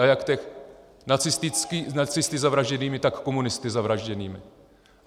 A jak těch nacisty zavražděných, tak komunisty zavražděných.